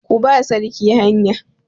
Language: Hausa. Ku ba sarki hanya!